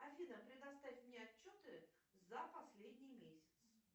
афина предоставь мне отчеты за последний месяц